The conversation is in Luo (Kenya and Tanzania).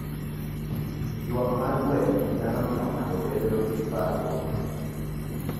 Ywak mar gwen nyalo miyo ng'ato obed gi parruok.